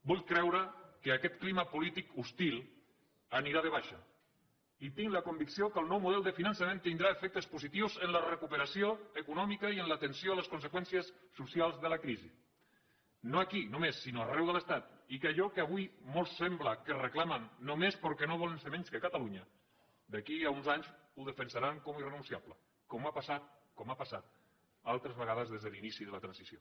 vull creure que aquest clima polític hostil anirà de baixa i tinc la convicció que el nou model de finançament tindrà efectes positius en la recuperació econòmica i en l’atenció a les conseqüències socials de la crisi no aquí només sinó arreu de l’estat i que allò que avui molts sembla que reclamen només perquè no volen ser menys que catalunya d’aquí a uns anys ho defensaran com a irrenunciable com ha passat altres vegades des de l’inici de la transició